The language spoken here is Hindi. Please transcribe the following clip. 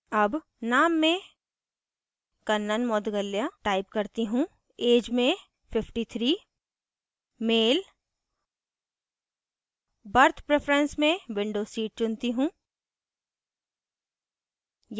अब name में kannan moudgalya type करती choose age में 53 मेल berth preference में window seat चुनती choose